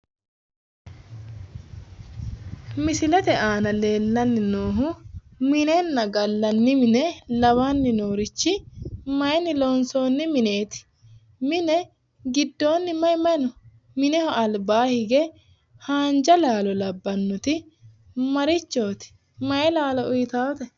Misilete aana leellanni noohu minenna gallanni mine lawanni noorichi mayiinni loonsoonni mineeti? mine gidoonni mayi mayi no? mineho albaanni hige haanja laalo labbaannoti marichooti? mayi laalo uyitaate?